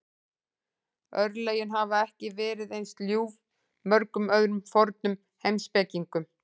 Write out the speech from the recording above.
Örlögin hafa ekki verið eins ljúf mörgum öðrum fornum heimspekingum.